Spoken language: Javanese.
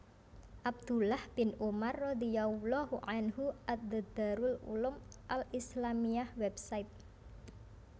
Abdullah bin Umar radhiyallahu anhu at The Darul Uloom Al Islamiyya Website